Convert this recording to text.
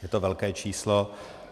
Je to velké číslo.